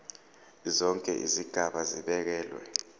zonke izigaba zibekelwe